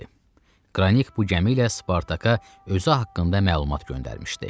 Qranik bu gəmi ilə Spartaka özü haqqında məlumat göndərmişdi.